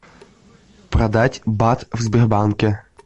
продать бат в сбербанке